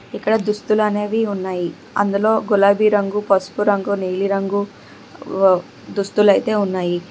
ఇక్కడ దుస్తులనేవి ఉన్నాయి అందులో గులాబీ రంగు పసుపు రంగు నీలిరంగు దుస్తులు అయితే ఉన్నాయి.